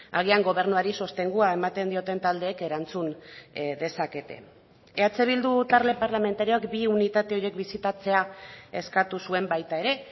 agian gobernuari sostengua ematen dioten taldeek erantzun dezakete eh bildu talde parlamentarioak bi unitate horiek bisitatzea eskatu zuen baita ere